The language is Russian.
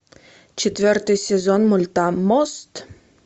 четвертый сезон мульта мост